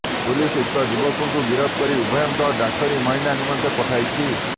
police ଉକ୍ତ ଯୁବକଙ୍କୁ ଗିରଫ କରି ଉଭୟଙ୍କଉ ଡାକ୍ତରୀ ମାଇନା ନିମନ୍ତେ ପଠାଇଛି